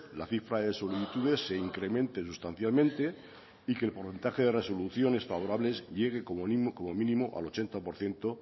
la cifra de solicitudes se incremente sustancialmente y que el porcentaje de resoluciones favorables llegue como mínimo al ochenta por ciento